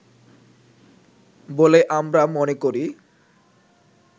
বলে আমরা মনে করি